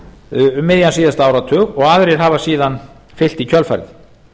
um miðjan síðasta áratug og aðrir hafa síðan fylgt í kjölfarið